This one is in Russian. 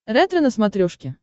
ретро на смотрешке